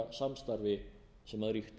seðlabankasamstarfi sem ríkti